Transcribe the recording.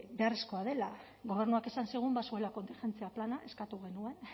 beharrezkoa dela gobernuak esan zigun bazuela kontingentzia plana eskatu genuen